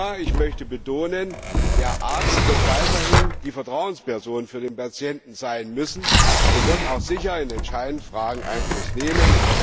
Aber ich möchte betonen Der Arzt wird weiterhin die Vertrauensperson für den Patienten sein müssen und auch sicher in den entscheidenden Fragen Einfluss nehmen.